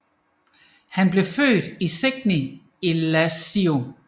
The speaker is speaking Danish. Han blev født i Segni i Lazio